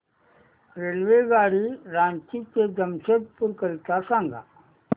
रेल्वेगाडी रांची ते जमशेदपूर करीता सांगा